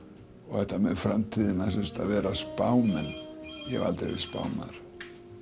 þetta með framtíðina að vera spámenn ég hef aldrei verið spámaður